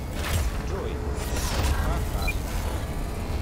джой ха ха